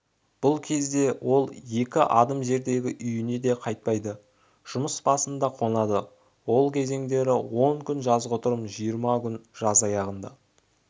бұл кезде ол екі адым жердегі үйіне де қайтпайды жұмыс басында қонады ол кезеңдері он күн жазғытұрым жиырма күн жаз аяғында